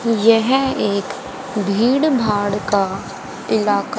यह एक भीड़ भाड़ का इलाका--